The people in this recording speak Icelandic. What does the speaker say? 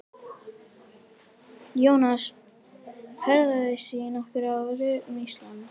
Jónas ferðaðist í nokkur ár um Ísland.